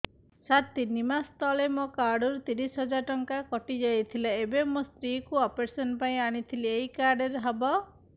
ସାର ତିନି ମାସ ତଳେ ମୋ କାର୍ଡ ରୁ ତିରିଶ ହଜାର ଟଙ୍କା କଟିଯାଇଥିଲା ଏବେ ମୋ ସ୍ତ୍ରୀ କୁ ଅପେରସନ ପାଇଁ ଆଣିଥିଲି ଏଇ କାର୍ଡ ରେ ହବ